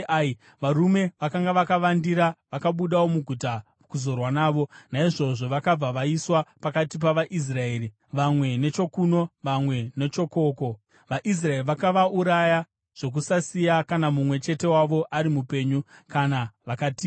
Varume vakanga vakavandira vakabudawo muguta kuzorwa navo, naizvozvo vakabva vaiswa pakati pavaIsraeri, vamwe nechokuno, vamwe nechokoko. VaIsraeri vakavauraya zvokusasiya kana mumwe chete wavo ari mupenyu kana vakatiza.